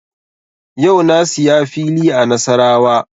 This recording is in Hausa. Yau na siya fili a Nasarawa